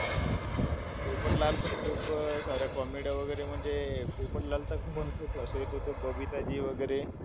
पोपटलाल पण खूप साऱ्या comedies वगैरे म्हणजे, पोपटलालपासून हसू येतं. बबिताजी वगैरे.